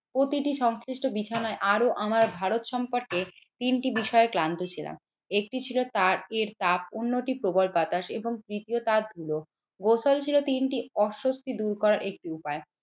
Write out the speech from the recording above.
প্রতিটি সংশ্লিষ্ট বিছানায় আরো আমার ভারত সম্পর্কে তিনটি বিষয় ক্লান্ত ছিলাম। একটি ছিল তার এর তাপ উন্নতি প্রবল বাতাস এবং তৃতীয় তাত গুলো গোসাল ছিল তিনটি অস্বস্তি দূর করা একটি উপায়।